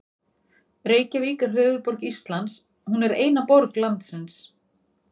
Reykjavík er höfuðborg Íslands. Hún er eina borg landsins.